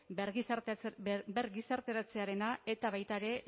bergizarteratzearena eta baita ere